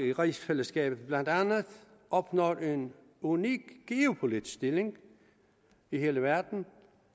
i rigsfællesskabet blandt andet opnår en unik geopolitisk stilling i hele verden